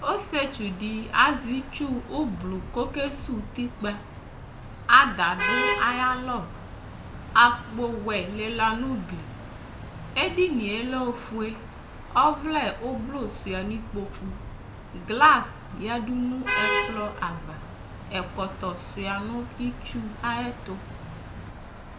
Ɔsɩetsu dɩ azɛ itsu ʋblʋ kʋ ɔkesuwu utikpa Ada dʋ ayalɔ Akpowɛ lɩla nʋ ugli Edini yɛ lɛ ofue Ɔvlɛ ʋblʋ sʋɩa nʋ ikpoku Glas yǝdu nʋ ɛkplɔ ava Ɛkɔtɔ sʋɩa nʋ itsu ayɛtʋ